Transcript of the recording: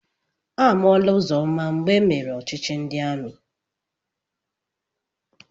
Amụọla Ụzọma mgbe emere ọchịchị ndị amị.